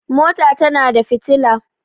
mota tana da fitila